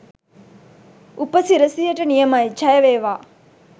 උපසිරැසියට නියමයි! ජය වේවා.